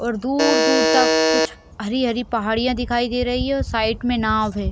और दूर - दूर तक कुछ हरी - हरी पहाड़िया दिखाई दे रही है और साइड में नाव है।